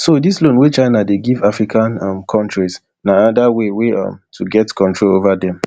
so dis loan wey china dey give african um kontris na anoda way um to get control ova dem